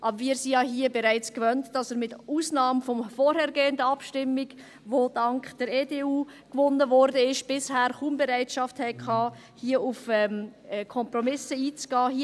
Aber wir sind es uns hier ja bereits gewöhnt, dass Sie mit Ausnahme der vorhergehenden Abstimmung, die dank der EDU gewonnen wurde, bisher kaum Bereitschaft hatten, hier auf Kompromisse einzugehen.